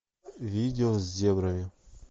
видео с зебрами